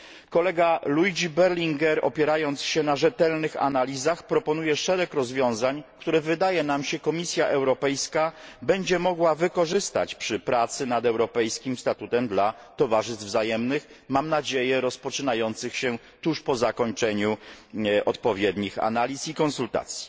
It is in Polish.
Kolega Luigi Berlinguer, opierając się na rzetelnych analizach, proponuje szereg rozwiązań, które wydaje nam się Komisja Europejska będzie mogła wykorzystać przy pracach nad europejskim statutem dla towarzystw wzajemnych, mam nadzieję rozpoczynających się tuż po zakończeniu odpowiednich analiz i konsultacji.